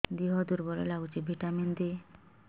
ଦିହ ଦୁର୍ବଳ ଲାଗୁଛି ଭିଟାମିନ ଦେ